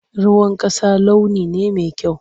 Ruwan ƙasa launi ne mai kyau.